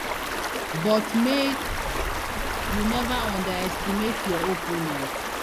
but make you neva underestimate your opponent